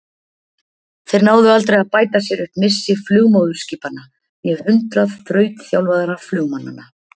Þeir náðu aldrei að bæta sér upp missi flugmóðurskipanna né hundrað þrautþjálfaðra flugmannanna.